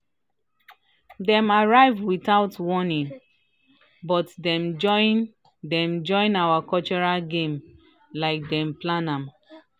dem arrive without warning but dem join dem join our cultural games like dem plan am."